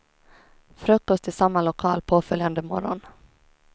Frukost i samma lokal påföljande morgon.